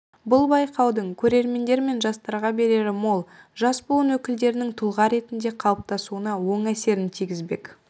бұл байқаудың көрермендер мен жастарға берері мол жас буын өкілдерінің тұлға ретінде қалыптасуына оң әсерін тигізбек